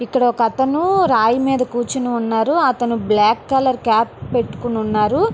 ఇక్కడ ఒక అతను రాయి మీద కూచోని ఉన్నాడు. అతను బ్లాక్ కలర్ కాప్ పెట్టుకొని ఉన్నాడు.